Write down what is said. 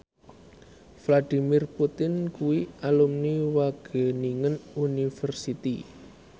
Vladimir Putin kuwi alumni Wageningen University